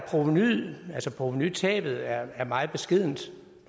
provenutabet er er meget beskedent